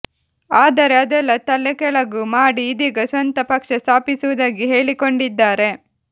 ಆದರೆ ಅದೆಲ್ಲಾ ತಲೆಕೆಳಗು ಮಾಡಿ ಇದೀಗ ಸ್ವಂತ ಪಕ್ಷ ಸ್ಥಾಪಿಸುವುದಾಗಿ ಹೇಳಿಕೊಂಡಿದ್ದಾರೆ